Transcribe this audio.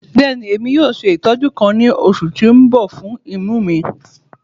Bẹẹni, Emi yoo ṣe itọju kan ni oṣu ti n bọ fun imu mi